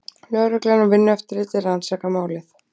Lögreglan og Vinnueftirlitið rannsaka málið